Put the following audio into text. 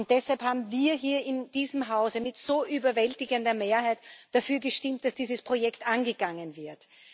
Deshalb haben wir hier in diesem Hause mit so überwältigender Mehrheit dafür gestimmt, dass dieses Projekt angegangen wird.